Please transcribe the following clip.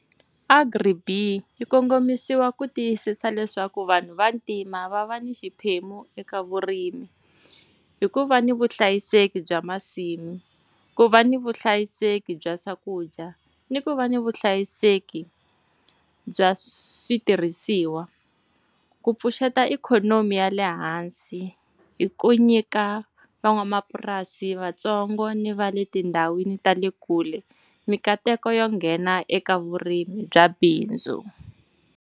Agri-BEE yi kongomisiwa ku tiyisisa leswaku vanhu vantima va va ni xiphemu eka vurimi. Hi ku va ni vuhlayiseki bya masimu, ku va ni vuhlayiseki bya swakudya, ni ku va ni vuhlayiseki bya switirhisiwa. Ku pfuxeta ikhonomi ya lehansi, hi ku nyika van'wamapurasi vatsongo ni va le tindhawini ta le kule minkateko yo nghena eka vurimi bya bindzu.